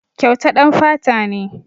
Kyauta ɗan fata ne.